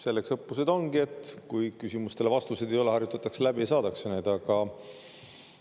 Selleks õppused ongi, et kui küsimustele vastuseid ei ole, siis harjutatakse läbi ja saadakse.